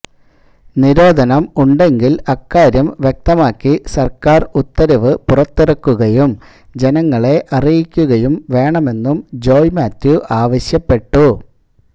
നിരോധനം ഉണ്ടെങ്കില് അക്കാര്യം വ്യക്തമാക്കി സര്ക്കാര് ഉത്തരവ് പുറത്തിറക്കുകയും ജനങ്ങളെ അറിയിക്കുകയും വേണമെന്നും ജോയ് മാത്യു ആവശ്യപ്പെട്ടു